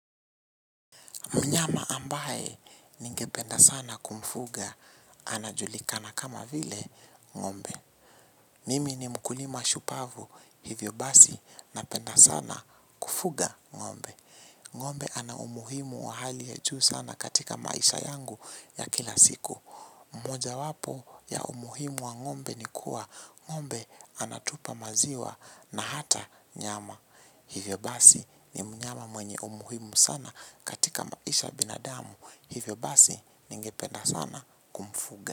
Mnyama ambaye ningependa sana kumfuga anajulikana kama vile ng'ombe. Nimi ni mkulima shupavu hivyo basi napenda sana kufuga ng'ombe. Ng'ombe ana umuhimu wa hali ya juu sana katika maisha yangu ya kila siku. Mmoja wapo ya umuhimu wa ng'ombe ni kuwa ng'ombe anatupa maziwa na hata nyama. Hivyo basi ni mnyama mwenye umuhimu sana katika maisha ya binadamu. Hivyo basi ningependa sana kumfuga.